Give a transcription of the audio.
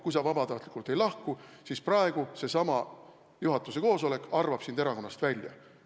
Kui sa vabatahtlikult ei lahku, siis praegu seesama juhatuse koosolek arvab sind erakonnast välja.